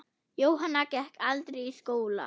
Jóhanna gekk aldrei í skóla.